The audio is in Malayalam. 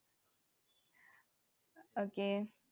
Okay